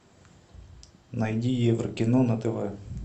найди еврокино на тв